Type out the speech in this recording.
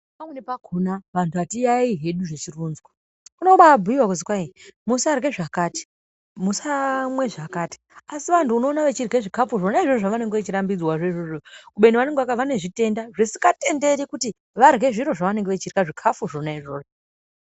Pamweni pakhona vantu hatiyaiyi hedu zvichironzwa, zvinobabhuyiwa kuti musarye zvakati, musamwe zvakati, asi vantu unoone vechirye zvikafu zvona izvozvo zvevanenge vechirambidzwazvoizvozvo, kubeni vanezvitenda zvisingatenderi kuti varye zviro zvevanenge vachirya, zvikafu zvona izvozvo.